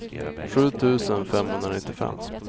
sju tusen femhundranittiofem